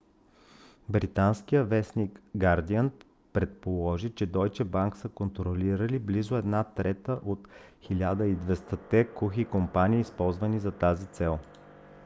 британският вестник гардиън предположи че дойче банк са контролирали близо една трета от 1200-те кухи компании използвани за тази цел